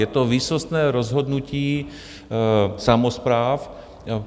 Je to výsostné rozhodnutí samospráv.